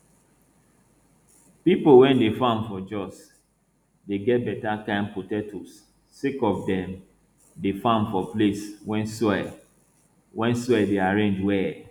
pipo wey dey farm for jos dey get better kind potatoes sake of dem dey farm for place wey soil wey soil dey arrange well